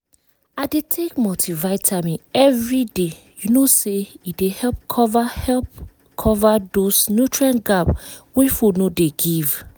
i dey take multivitamin every day you know say e dey help cover help cover those nutrient gap wey food no dey give